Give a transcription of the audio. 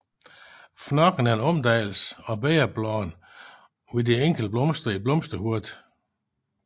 Fnokken er en omdannelse af bægerbladene hos de enkelte blomster i blomsterhovedet